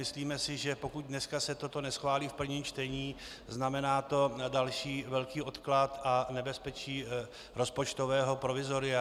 Myslíme si, že pokud dneska se toto neschválí v prvním čtení, znamená to další velký odklad a nebezpečí rozpočtového provizoria.